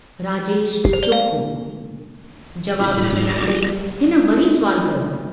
राजेश चुप हो, जवाब न मिलण ते हिन वरी सुवालु कयो।